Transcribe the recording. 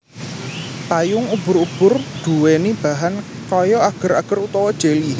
Payung ubur ubur nduweni bahan kaya ager ager utawa jeli